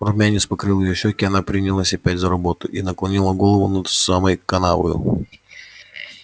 румянец покрыл её щеки она принялась опять за работу и наклонила голову над самой канавою